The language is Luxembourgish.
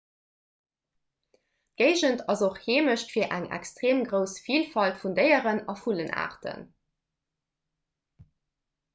d'géigend ass och heemecht fir eng extreem grouss vilfalt vun déieren a vullenaarten